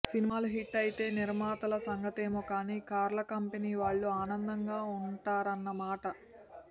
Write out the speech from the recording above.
సినిమాలు హిట్ అయితే నిర్మాతల సంగతేమో కానీ కార్ల కంపెనీ వాళ్లు ఆనందగా వుంటారన్నమాట